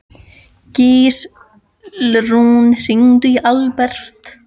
Gíslrún, hringdu í Alberg.